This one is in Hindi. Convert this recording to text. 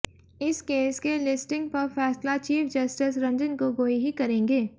इस केस के लिस्टिंग पर फैसला चीफ जस्टिस रंजन गोगोई ही करेंगे